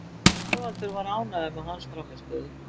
Þorvaldur var ánægður með hans frammistöðu.